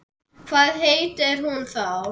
Hvað heitir hún þá?